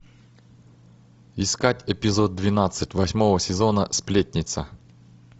искать эпизод двенадцать восьмого сезона сплетница